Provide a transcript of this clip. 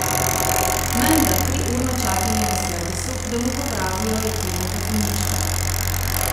Menda triurno čakanje na servisu, da mu popravijo jeklenega konjička.